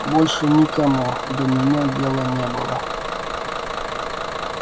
больше никому до меня дела не было